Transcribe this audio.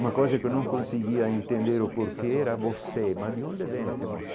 Uma coisa que eu não conseguia entender o porquê era você, mas de onde devem este?